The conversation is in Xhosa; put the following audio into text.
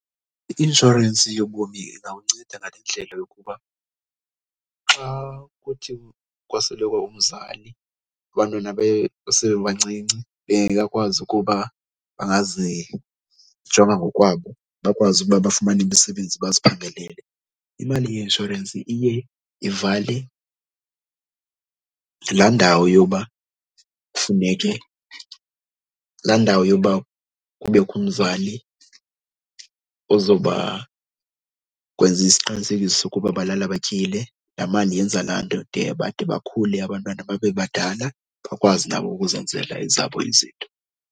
I-inshorensi yobomi izawunceda ngale ndlela yokuba xa kuthi kwasweleka umzali abantwana besebancinci bengekakwazi ukuba bangazijonga ngokwabo, bakwazi ukuba bafumane imisebenzi baziphangele, imali yeinshorensi iye ivale laa ndawo yoba kufuneke, laa ndawo yoba kubekho umzali ozoba kwenza isiqinisekiso sokuba balala batyile. Laa mali yenza laa nto de bade bakhule abantwana babe badala, bakwazi nabo ukuzenzela ezabo izinto.